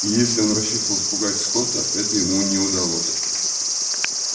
если он рассчитывал запугать скотта это ему не удалось